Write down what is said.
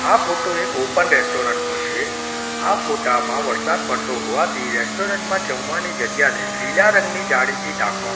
આ ફોટો એક open restaurant નો છે આ ફોટા માં વરસાદ પડતો હોવાથી રેસ્ટોરન્ટ માં જમવાની જગ્યા ને લીલા રંગની જાળીથી ઢાંકવા--